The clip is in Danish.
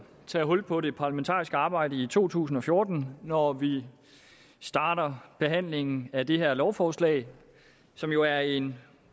tage hul på det parlamentariske arbejde i to tusind og fjorten når vi starter behandlingen af det her lovforslag som jo er en